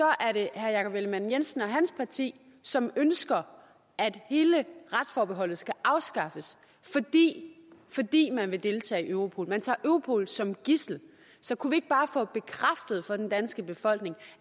er det herre jakob ellemann jensen og hans parti som ønsker at hele retsforbeholdet skal afskaffes fordi man vil deltage i europol man tager europol som gidsel så kunne vi ikke bare få bekræftet for den danske befolkning